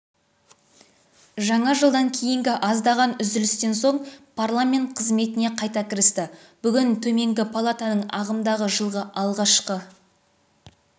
жаңа жылдан кейінгі аздаған үзілістен соң парламент қызметіне қайта кірісті бүгін төменгі палатаның ағымдағы жылғы алғашқы